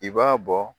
I b'a bɔ